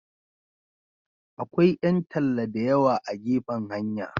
Akwai 'yan talla da yawa a gefen hanya.